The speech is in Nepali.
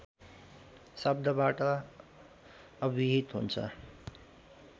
शब्दबाट अभिहित हुन्छ